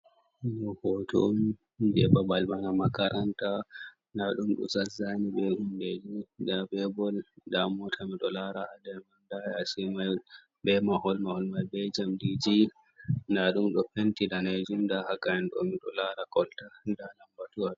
hoton je babal bana makaranta. Nda ɗum do zazani be humɗeji ɗa be bol da mota mi ɗo lara. Nda yasimai be mahol-mahol mal ba jamɗiji. Nɗa ɗum ɗo penti ɗanejum nda ha gayen do mi ɗo lara kolta. Nɗa lambatuwa.